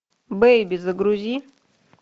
бейби загрузи